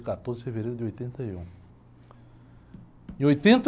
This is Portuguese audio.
Foi dia quatorze de fevereiro de oitenta e um. Em oitenta